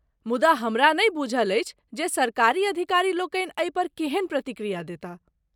मुदा हमरा नहि बूझल अछि जे सरकारी अधिकारीलोकनि एहिपर केहन प्रतिक्रिया देताह।